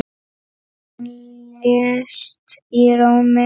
Hann lést í Róm.